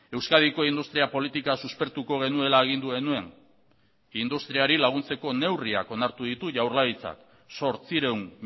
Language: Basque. euskadiko industria politika suspertuko genuela agindu genuen industriari laguntzeko neurriak onartu ditu jaurlaritzak zortziehun